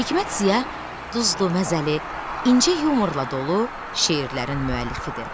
Hikmət Ziya duzlu, məzəli, incə yumorla dolu şeirlərin müəllifidir.